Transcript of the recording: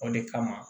O de kama